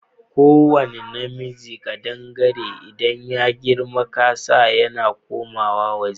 Ko wane namijin kadangare idan ya girma kansa yana komawa ja